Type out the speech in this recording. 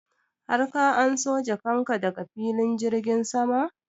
har ka anso jakan ka daga filin jirgin sama?